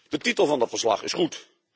De titel van dat verslag is goed.